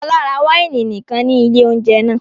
Fọlá ra wáìnì nìkan ní ilé-oúnjẹ náà?